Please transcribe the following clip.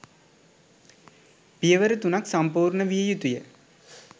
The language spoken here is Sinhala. පියවර තුනක් සම්පූර්ණ විය යුතු ය.